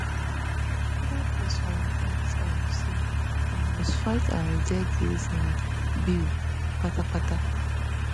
e further post for im x handle say we must fight and reject dis um bill kpatakpata